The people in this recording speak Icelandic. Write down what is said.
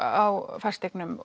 á fasteignum